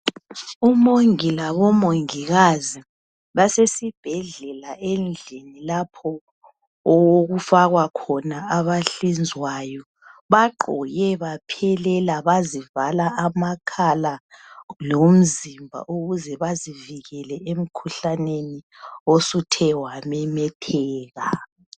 Omongi labomongikazi basesibhedlela endlini lapho okufakwa khona abahlinzwayo bagqoke baphelela bazivala amakhala lomzimba ukuze bazivikele emkhuhlaneni osuthe wamemetheka